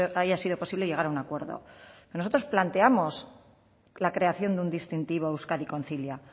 haya sido posible llegar a un acuerdo nosotros planteamos la creación de un distintivo euskadi concilia